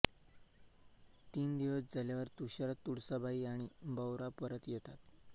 तीन दिवस झाल्यावर तुषार तुळसाबाई आणि भाऊराव परत येतात